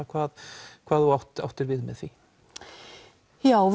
hvað hvað þú áttir áttir við með því já